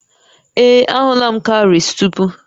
Ee, ahụla m cowries tupu